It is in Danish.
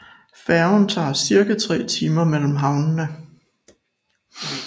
Færgen tager cirka tre timer mellem havnene